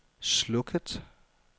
slukket